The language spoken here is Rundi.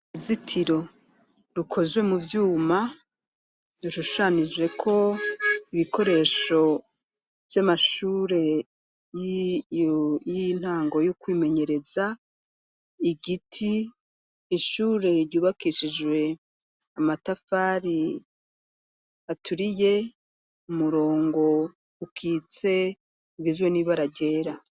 Uruzitiro rukozwe muvyuma ,rushushanijeko ibikoresho vyamashure yintango yokwimenyereza Igiti Ishure ry'ubakishijwe amatafari aturiye , umurongo ukitse urimwo ibara ryera.